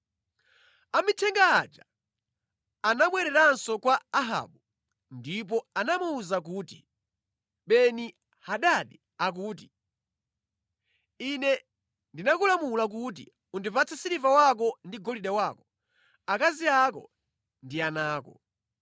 Amithenga aja anabwereranso kwa Ahabu ndipo anamuwuza kuti, “Beni-Hadadi akuti, ‘Ine ndinakulamula kuti undipatse siliva wako ndi golide wako, akazi ako ndi ana ako.